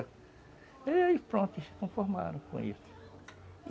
E aí pronto, eles se conformaram com isso.